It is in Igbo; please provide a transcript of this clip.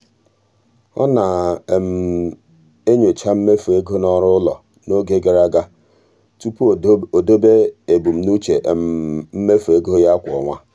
ọ na-enyocha mmefu ego n'ọrụ ụlọ n'oge gara aga tupu o debe ebumnuche mmefu ego ya kwa ọnwa.